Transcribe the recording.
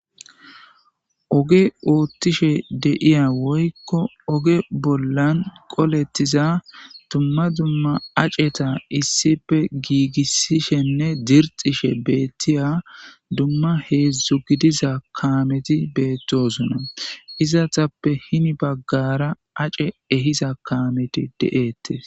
Oge oothishe de'iya woylon oge bolla qoletida duma duma aceta issippe giigisishenne dixishe beetiza duma hezhu godiza kaameti beetosona izetappe hemi bagara ace ehiza kaameti de'eyees.